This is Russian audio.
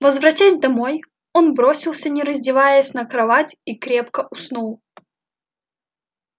возвратясь домой он бросился не раздеваясь на кровать и крепко уснул